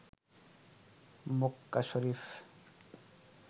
মককা Sharif